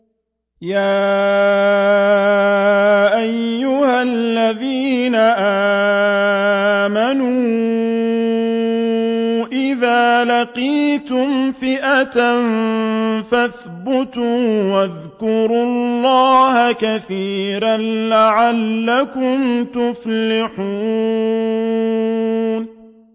يَا أَيُّهَا الَّذِينَ آمَنُوا إِذَا لَقِيتُمْ فِئَةً فَاثْبُتُوا وَاذْكُرُوا اللَّهَ كَثِيرًا لَّعَلَّكُمْ تُفْلِحُونَ